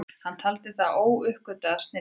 Hann taldi hann óuppgötvaðan snilling.